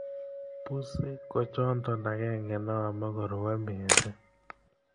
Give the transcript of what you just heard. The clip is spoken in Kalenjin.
pusii kochonto akenge nehomei koruei misiiing